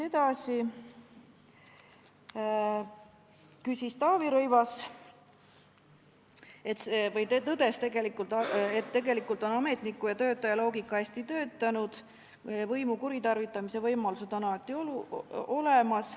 Taavi Rõivas tõdes, et tegelikult on ametniku ja töötaja loogika hästi töötanud, võimu kuritarvitamise võimalused on aga alati olemas.